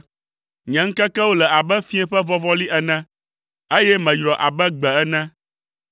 Nye ŋkekewo le abe fiẽ ƒe vɔvɔli ene, eye meyrɔ abe gbe ene.